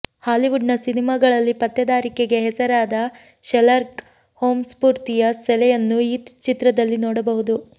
ಹಾಲಿವುಡ್ನ ಸಿನಿಮಾಗಳಲ್ಲಿಪತ್ತೇದಾರಿಕೆಗೆ ಹೆಸರಾದ ಶೆರ್ಲಾಕ್ ಹೋಂ ಸ್ಫೂರ್ತಿಯ ಸೆಲೆಯನ್ನೂ ಈ ಚಿತ್ರದಲ್ಲಿನೋಡಬಹುದು